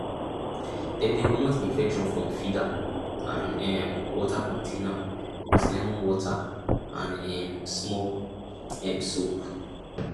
dem dey comot infection from feeder and um water container with lemon water and um small um soap